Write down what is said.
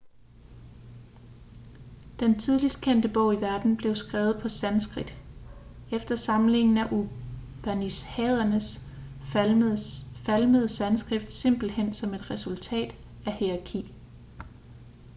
den tidligst kendte bog i verden blev skrevet på sanskrit efter samlingen af upanishaderne falmede sanskrit simpelthen som et resultat af hierarki